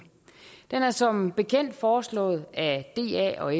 den er som bekendt foreslået af da og